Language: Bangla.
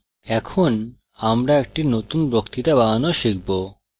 এখন আমরা একটি নতুন বক্তৃতা বানানো শিখব